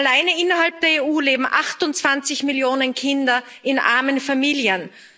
Alleine innerhalb der EU leben 28 Millionen Kinder in armen Familien.